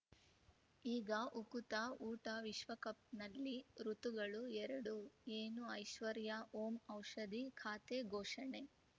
ಈಗ ಉಕುತ ಊಟ ವಿಶ್ವಕಪ್‌ನಲ್ಲಿ ಋತುಗಳು ಎರಡು ಏನು ಐಶ್ವರ್ಯಾ ಓಂ ಔಷಧಿ ಖಾತೆ ಘೋಷಣೆ